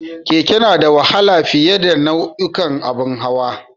Keke na da wahala fiye a nau'ukan abun hawa